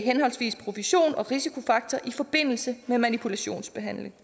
henholdsvis profession og risikofaktor i forbindelse med manipulationsbehandling